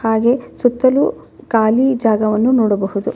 ಹಾಗೆ ಸುತ್ತಲೂ ಖಾಲಿ ಜಾಗವನ್ನು ನೋಡಬಹುದು.